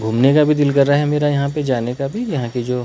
घूमने का भी दिल कर रहा है मेरा यहां पे जाने का भी यहां के जो--